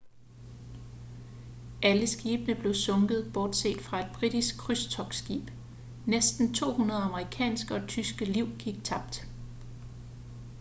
alle skibene blev sunket bortset fra et britisk krydstogtskib næsten 200 amerikanske og tyske liv gik tabt